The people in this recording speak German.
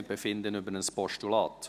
Wir befinden über ein Postulat.